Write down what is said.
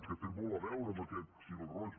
que té molt a veure amb aquest fil roig